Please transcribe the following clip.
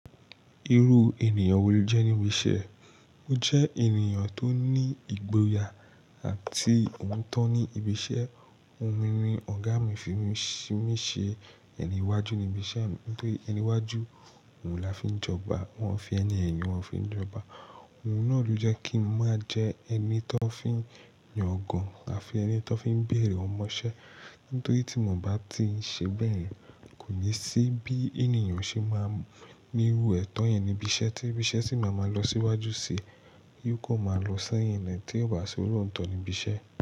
Irú ènìyàn wo lo jẹ́ níbi iṣẹ́? O jẹ́ ènìyàn tó ní ìgboyà àti òótọ́ ní ibi iṣẹ́. Ohun mi ọ̀gá mi fi mí ṣe ẹni iwájú ní ibi iṣẹ́ mi, nítorí ẹni iwájú òun la fi ń jọba, wọ́n fi ẹni ẹ̀yìn wọ́n fi ń jọba. Ohun náà ló jẹ́ kí n máa jẹ ẹni tó fi ń yan ọ̀gàn àfi ẹni tó fi ń bèèrè ọmọṣẹ́. Nítorí tí mo bá ti ṣe bẹ́ẹ̀, kò ní sí bí ènìyàn ṣe máa ni irú ẹ̀tọ́ yẹn níbi iṣẹ́ tí ibi iṣẹ́ sì máa ma lọ sí iwájú sí i, yóò kò máa lọ sẹ́yìn lẹ́ tí ó bá ṣe olóòótọ́ ní ibi iṣẹ́